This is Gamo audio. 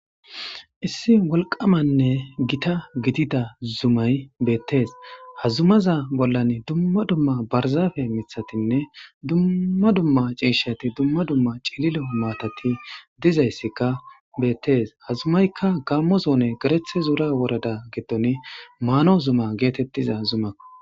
Issi wolqamanne gita gitida zumay beettees hazumaza bollan dumma dumma barzaafe mithatinne dumma dumma ciishati dumma dumma cililo maatati dizayssikka beettees hazumaykka gammo zoone gerethe zuura worada gitton maano zuma geetettiza zumak.o